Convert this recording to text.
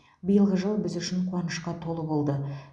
биылғы жыл біз үшін қуанышқа толы болды